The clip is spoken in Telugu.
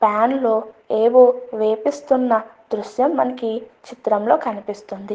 పాన్ లో ఏవో వేపిస్తున్న దృశ్యం మనకి చిత్రం లో కనిపిస్తుంది.